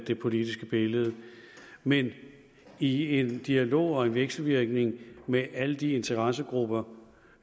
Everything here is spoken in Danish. det politiske billede men i en dialog og en vekselvirkning med alle de interessegrupper